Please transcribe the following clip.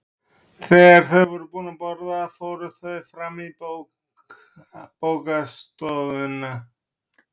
Þegar þau voru búin að borða fóru þau fram í bókastofuna.